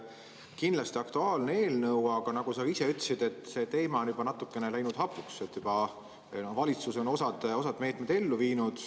Kindlasti aktuaalne eelnõu, aga nagu sa ka ise ütlesid, see teema on juba natukene hapuks läinud, valitsus on juba osa meetmeid ellu viinud.